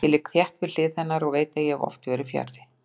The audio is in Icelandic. Ég ligg þétt við hlið hennar og veit að ég hef oft verið fjarri.